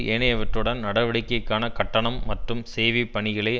ஏனையவற்றுடன் நடவடிக்கைக்கான கட்டணம் மற்றும் சேவை பணிகளை